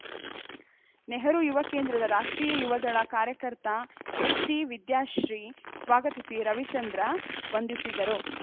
ನೆಹರು ಯುವ ಕೇಂದ್ರದ ರಾಷ್ಟ್ರೀಯ ಯುವದಳ ಕಾರ್ಯಕರ್ತ ಎಚ್‌ಸಿ ವಿದ್ಯಾಶ್ರೀ ಸ್ವಾಗತಿಸಿ ರವಿಚಂದ್ರ ವಂದಿಸಿದರು